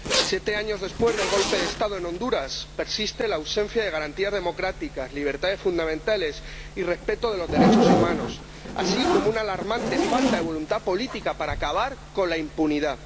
Siete años después del golpe de Estado en Honduras persiste la ausencia de garantías democráticas, libertades fundamentales y respeto de los derechos humanos, así como una alarmante falta de voluntad política para acabar con la impunidad.